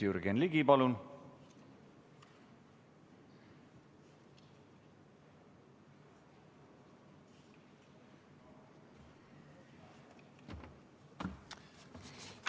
Jürgen Ligi, palun!